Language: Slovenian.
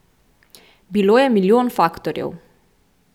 Bilo je milijon faktorjev.